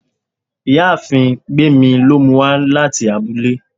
ìyáàfín gbemí lo mú u wa latí abúlé